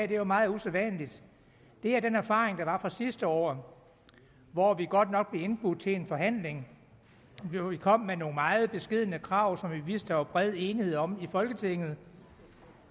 det er jo meget usædvanligt er erfaringen fra sidste år hvor vi godt nok blev indbudt til en forhandling vi kom med nogle meget beskedne krav som vi vidste der var bred enighed om i folketinget